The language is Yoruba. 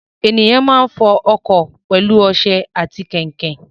Ènìyàn máa ń fọ ọkọ̀ pẹlú ọsẹ ati kain kain